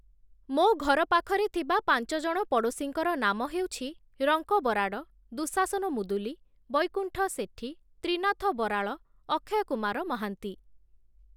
ମୋ ଘର ପାଖରେ ଥିବା ପାଞ୍ଚଜଣ ପଡ଼ୋଶୀଙ୍କର ନାମ ହେଉଛି, ରଙ୍କ ବରାଡ଼, ଦୁଶାସନ ମୁଦୁଲି, ବୈକୁଣ୍ଠ ସେଠି, ତ୍ରିନାଥ ବରାଳ, ଅକ୍ଷୟ କୁମାର ମହାନ୍ତି